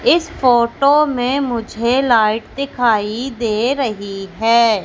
इस फोटो में मुझे लाइट दिखाई दे रही है।